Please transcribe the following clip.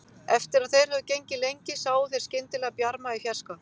Eftir að þeir höfðu gengið lengi sáu þeir skyndilega bjarma í fjarska.